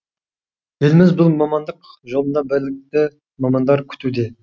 еліміз бұл мамандық жолында білікті мамандар күтуде